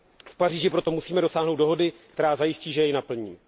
V Paříži proto musíme dosáhnout dohody, která zajistí, že jej naplníme.